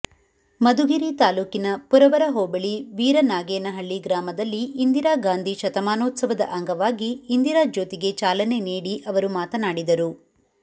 ಮಧುಗಿರಿ ತಾಲೂಕಿನ ಪುರವರ ಹೋಬಳಿ ವೀರನಾಗೇನಹಳ್ಳಿ ಗ್ರಾಮದಲ್ಲಿ ಇಂದಿರಾಗಾಂಧಿ ಶತಮಾನೋತ್ಸವದ ಅಂಗವಾಗಿ ಇಂದಿರಾ ಜ್ಯೋತಿಗೆ ಚಾಲನೆ ನೀಡಿ ಅವರು ಮಾತನಾಡಿದರು